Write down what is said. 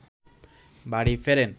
বাড়ি ফেরেন